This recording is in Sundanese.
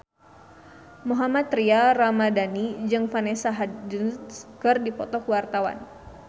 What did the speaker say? Mohammad Tria Ramadhani jeung Vanessa Hudgens keur dipoto ku wartawan